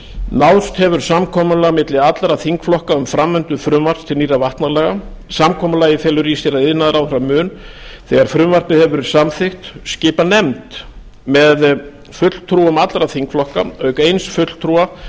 náðst hefur samkomulag milli allra þingflokka um framvindu frumvarps til nýrra vatnalaga samkomulagið felur í sér að iðnaðarráðherra mun þegar frumvarpið hefur verið samþykkt skipa nefnd með fulltrúum allra þingflokka auk eins fulltrúa